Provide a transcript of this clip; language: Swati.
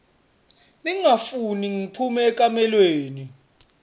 ningafuni ngiphume ekamelweni